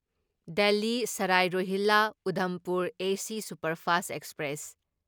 ꯗꯦꯜꯂꯤ ꯁꯔꯥꯢ ꯔꯣꯍꯤꯜꯂꯥ ꯎꯗꯝꯄꯨꯔ ꯑꯦꯁ superfast express